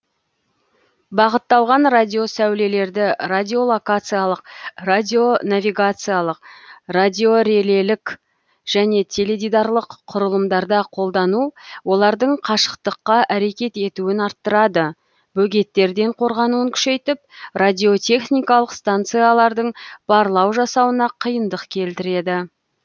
бағытталған радиосәулелерді радиолокациялық радионавигациялық радиорелелік және теледидарлық құрылымдарда қолдану олардың қашықтыққа әрекет етуін арттырады бөгеттерден қорғануын күшейтіп радиотехникалық станциялардың барлау жасауына қиындық келтіреді